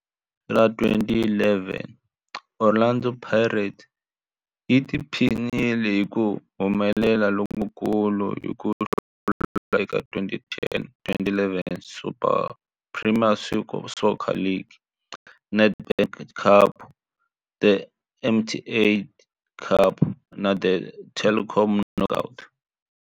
Hi lembe ra 2011, Orlando Pirates yi tiphinile hi ku humelela lokukulu hi ku hlula eka 2010-11 Premier Soccer League, The Nedbank Cup, The MTN 8 Cup na The Telkom Knockout.